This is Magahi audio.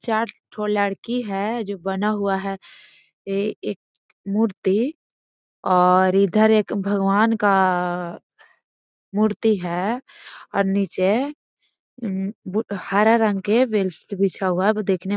चार ठो लड़की है जो बना हुआ है ए एक मूर्ति और इधर एक भगवान का मूर्ति है आर नीचे अ बू हरा रंग के बेडशीट बिछा हुआ देखने --